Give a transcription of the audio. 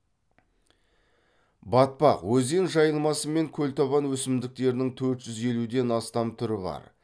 батпақ өзен жайылмасы мен көлтабан өсімдіктерінің төрт жүз елуден астам түрі бар